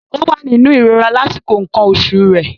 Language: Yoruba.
Ó wà nínú ìrora lásìkò nǹkan oṣù rẹ̀.